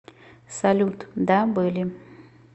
салют да были